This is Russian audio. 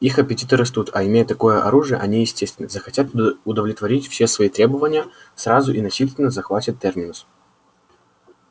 их аппетиты растут а имея такое оружие они естественно захотят удовлетворить все свои требования сразу и насильственно захватят терминус